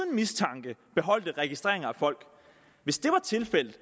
mistanke beholdt registreringer af folk hvis det var tilfældet